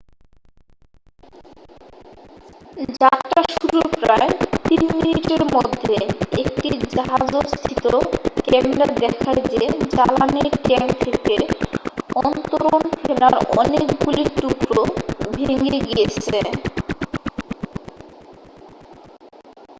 যাত্রা শুরুর প্রায় 3 মিনিটের মধ্যে একটি জাহাজস্থিত ক্যামেরা দেখায় যে জ্বালানীর ট্যাঙ্ক থেকে অন্তরণ ফেনার অনেকগুলি টুকরো ভেঙে গিয়েছে